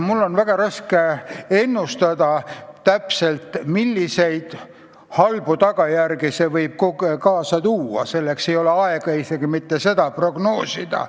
Mul on väga raske ennustada, milliseid halbu tagajärgi see võib kaasa tuua, ja ei ole aega isegi mitte seda prognoosida.